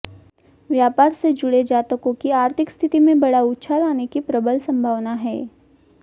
व्यापार से जुड़े जातकों की आर्थिक स्थिति में बड़ा उछाल आने की प्रबल संभावना है